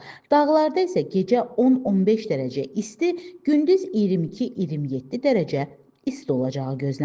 Dağlarda isə gecə 10-15 dərəcə isti, gündüz 22-27 dərəcə isti olacağı gözlənilir.